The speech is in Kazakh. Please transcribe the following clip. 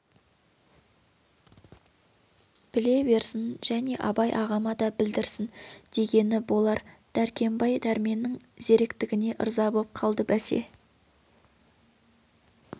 біле берсін және абай ағама да білдірсін дегені болар дәркембай дәрменнің зеректігіне ырза боп қалды бәсе